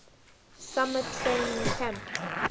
summer training camp